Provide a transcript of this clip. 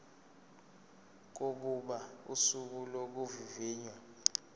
kokuba usuku lokuvivinywa